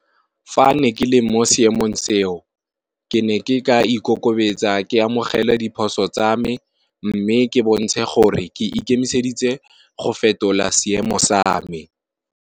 Fa ne ke le mo seemong seo, ke ne ke ka ikokobetsa ke amogele diphoso tsa me, mme ke bontshe gore ke ikemiseditse go fetola seemo sa me.